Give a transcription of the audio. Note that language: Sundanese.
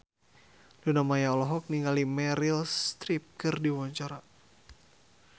Luna Maya olohok ningali Meryl Streep keur diwawancara